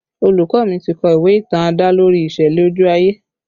Olùkọ́ mi ti kọ ìwé ìtàn adalori ìṣẹ̀lẹ̀ ojú ayé